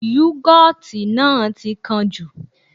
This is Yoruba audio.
Yúgọ́ọ̀tì náà ti kán jù